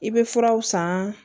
I bɛ furaw san